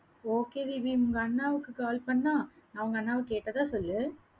okay Deepi, உங்க அண்ணாவுக்கு call பண்ணா, நா உங்க அண்ணாவா கேட்டதா சொல்லு.